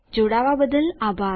જોડાવા બદ્દલ આભાર